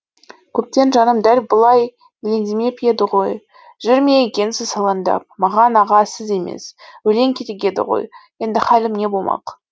көптен жаным дәл бұлай елеңдемеп еді ғой жүр ме екенсіз алаңдап маған аға сіз емес өлең керек еді ғой енді халім не болмақ